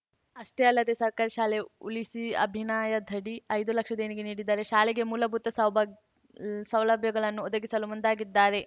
ಅಷ್ಟೇ ಅಲ್ಲದೆ ಸರ್ಕಾರಿ ಶಾಲೆ ಉಳಿಸಿಅಭಿನಾಯದಡಿ ಐದು ಲಕ್ಷ ದೇಣಿಗೆ ನೀಡಿದ್ದಾರೆ ಶಾಲೆಗೆ ಮೂಲಭೂತ ಸೌಬಾಗ್ ಸೌಲಭ್ಯಗಳನ್ನು ಒದಗಿಸಲು ಮುಂದಾಗಿದ್ದಾರೆ